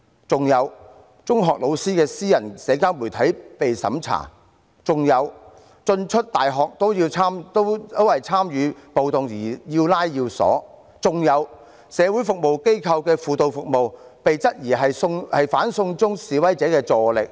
此外，中學老師的私人社交媒體被審查、進出大學也因為參與暴動而要拉要鎖、社會服務機構的輔導服務被質疑是"反送中"示威者的助力。